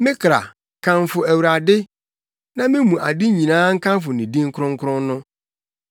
Me kra, kamfo Awurade; na me mu ade nyinaa nkamfo ne din kronkron no.